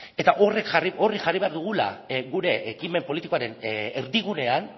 eta hori jarri behar dugula gure ekimen politikoaren erdigunean